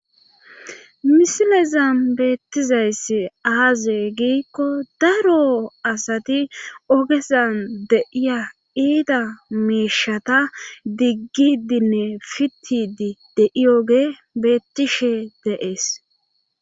Misilezan beettizayssi aaze giikko daro asati ogezan de'iza ita miishata diggidinne fitidi deiyoge beettishshe de'ees